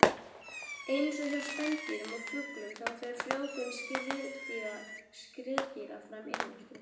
Eins og hjá spendýrum og fuglum þá fer frjóvgun skriðdýra fram innvortis.